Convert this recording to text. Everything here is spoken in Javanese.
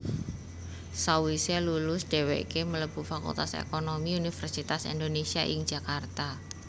Sawise lulus dheweke mlebu Fakultas Ekonomi Universitas Indonésia ing Jakarta